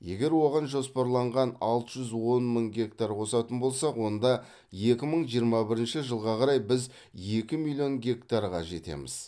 егер оған жоспарланған алты жүз он мың гектар қосатын болсақ онда екі мың жиырма бірінші жылға қарай біз екі миллион гектарға жетеміз